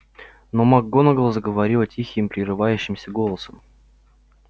но макгонагалл заговорила тихим прерывающимся голосом